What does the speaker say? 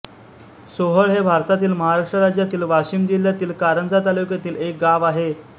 सोहळ हे भारतातील महाराष्ट्र राज्यातील वाशिम जिल्ह्यातील कारंजा तालुक्यातील एक गाव आहे